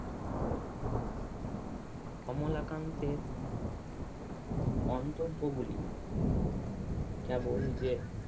কমলাকান্তের মন্তব্য গুলি কেবল যে